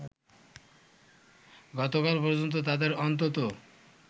গতকাল পর্যন্ত তাদের অন্তত